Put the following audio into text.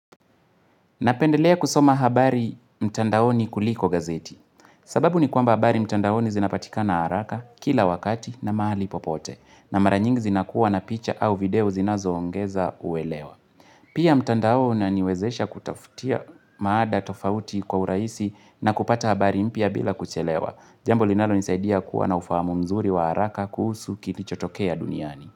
Napendelea kusoma habari mtandaoni kuliko gazeti. Sababu ni kwamba habari mtandaoni zinapatikana haraka, kila wakati na mahali popote. Na maranyingi zinakuwa na picha au video zinazoongeza uelewa. Pia mtandao unaniwezesha kutafutia mada tofauti kwa urahisi na kupata habari mpya bila kuchelewa. Jambo linalonisaidia kuwa na ufahamu mzuri wa haraka kuhusu kilichotokea duniani.